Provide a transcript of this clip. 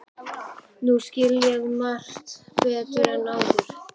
Nú skil ég margt betur en áður.